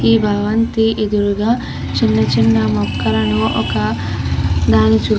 ఈ భవంతి ఎదురుగా చిన్న చిన్న మొక్కలను ఒక దాని చు --